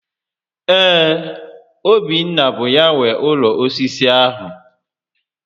Ee, Obinna bụ ya nwe ụlọ osisi ahụ